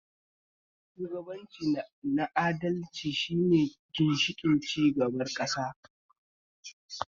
Shugabanci na adalci shine ginshiƙin cigabar ƙasa